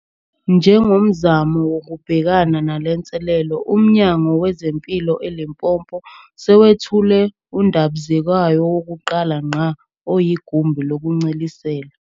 Njengomzamo wokubhekana nalenselele, uMnyango wezeMpilo eLimpopo sewethule undabizekwayo wokuqala ngqa oyigumbi lokuncelisela